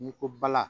N'i ko bala